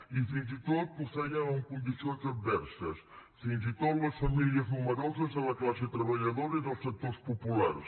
i fins i tot ho fèiem en condicions adverses fins i tot en les famílies nombroses de la classe treballadora i dels sectors populars